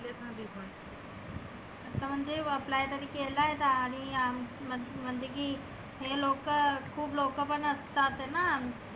आता म्हणजे apply केलाय आणि आम म्हण म्हणजे की हे लोकं खुप लोकं पण असतात आहेना.